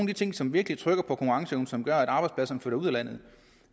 de ting som virkelig trykker konkurrenceevnen og som gør at arbejdspladserne flytter ud af landet